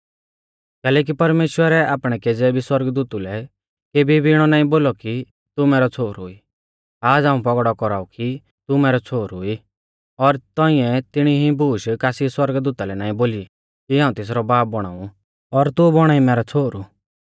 कैलैकि परमेश्‍वरै आपणै केज़ै भी सौरगदूतु लै केबी भी इणौ नाईं बोलौ कि तू मैरौ छ़ोहरु ई आज़ हाऊं पौगड़ौ कौराऊ कि तू मैरौ छ़ोहरु ई और तौंइऐ तिणीऐ इऐ बूश कासी सौरगदूता लै नाईं बोली कि हाऊं तेसरौ बाब बौणा ऊ और तू बौणा ई मैरौ छ़ोहरु